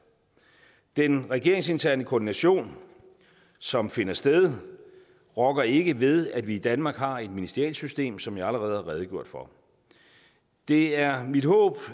den regeringsinterne koordination som finder sted rokker ikke ved at vi i danmark har et ministerialsystem som jeg allerede har redegjort for det er mit håb